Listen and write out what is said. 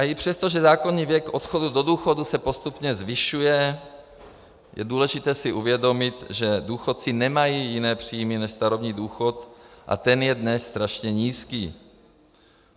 A i přesto, že zákonný věk odchodu do důchodu se postupně zvyšuje, je důležité si uvědomit, že důchodci nemají jiné příjmy než starobní důchod, a ten je dnes strašně nízký.